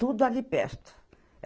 Tudo ali perto.